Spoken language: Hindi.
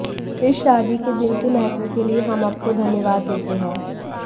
इस शादी के दिन के महत्व के लिए हम आपको धन्यवाद देते हैं